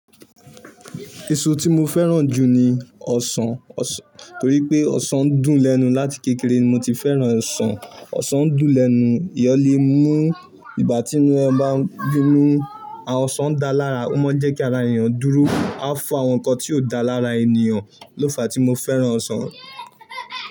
Eṣọ tí mo fẹ́ràn jù ni ni ọsàn torí pé ọsàn ń dùn lẹnu. Lati kékeré mo ti fẹ́ràn ọsàn, ọsàn ń dùn lẹ́nu, eyan lè mú nígbàtí ẹ bá fín mú, ọsàn ń dáa lára, ó máa ń jẹ́ kí ara ènìyàn dúró, a fún àwọn nǹkan tí ó dáa lára ènìyàn. Ló fàá tí mo fẹ́ràn ọsàn.